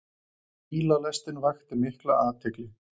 Bílalestin vakti mikla athygli.